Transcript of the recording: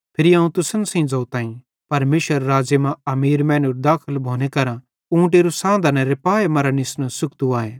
फिरी अवं तुसन सेइं ज़ोताईं परमेशरेरे राज़्ज़े मां अमीर मैनेरू दाखल भोने केरां ऊँटेरू सांधनेरे पाऐ मरां निस्नू सुख्तू आए